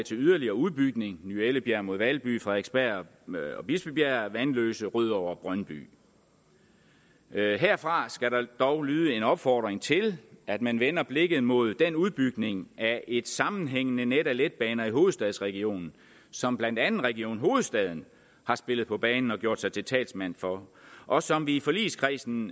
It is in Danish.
til yderligere udbygning ny ellebjerg mod valby frederiksberg bispebjerg vanløse rødovre og brøndby herfra skal der dog lyde en opfordring til at man vender blikket mod den udbygning af et sammenhængende net af letbaner i hovedstadsregionen som blandt andet region hovedstaden har spillet på banen og har gjort sig til talsmand for og som vi i forligskredsen